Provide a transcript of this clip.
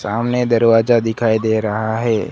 सामने दरवाजा दिखाई दे रहा है।